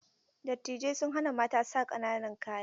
Dattijai sun hana Mata sa ƙananan kaya.